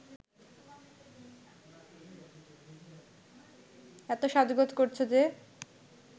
এত সাজগোজ করছ যে